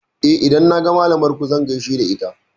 Eh, idan naga malamar ku zan gaishe da ita.